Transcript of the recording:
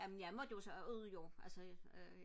jamen jeg måtte jo så ud jo atså øh